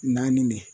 Naani ne